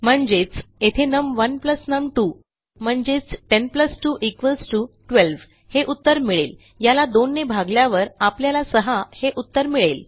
म्हणजेच येथे नम1 नम2 म्हणजेच 10 2 12 हे उत्तर मिळेल याला 2 ने भागल्यावर आपल्याला 6 हे उत्तर मिळेल